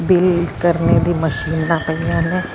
VAT ਕਰਨੇ ਦੀ ਮਸ਼ੀਨਾ ਪਈਆਂ ਨੇ।